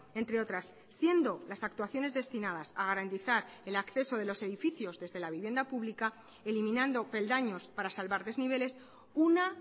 entre otras siendo las actuaciones destinadas a garantizar el acceso de los edificios desde la vivienda pública eliminando peldaños para salvar desniveles una